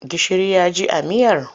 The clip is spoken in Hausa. Gishiri ya ji a miyar?